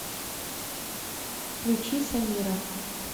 включи самира